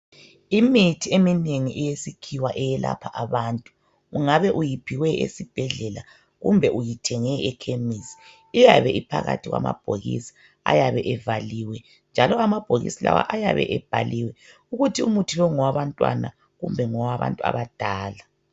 Imithi eminengi eyesikhiwa eyelapha abantu. Ungabe uyiphiwe esibhedlela kumbe uyithenge ekhemisi iyabe iphakathi kwamabhokisi ayabe evaliwe njalo amabhokisi lawa ayabe ebhaliwe ukuthi umuthi lo ngowabantwana kumbe ngowabantu abadala.